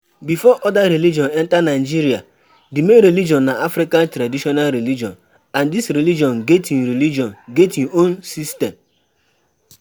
Before oda religion enter Nigeria, di main religion na African Traditional Religion and this religion get im religion get im own system